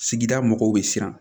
Sigida mɔgɔw bɛ siran